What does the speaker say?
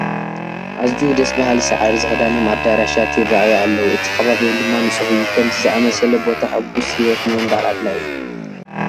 ኣዝዩ ደስ በሃሊ ሳዕሪ ዝኽዳኖም ኣዳራሻት ይርአዩ ኣለው፡፡ እቲ ከባቢኦም ድማ ንፁህ እዩ፡፡ ከምዚ ዝኣምሰለ ቦታ ሕጉስ ህይወት ንምንባር ኣድላዪ እዩ፡፡